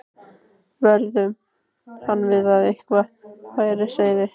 vöruðu hann við að eitthvað væri á seyði.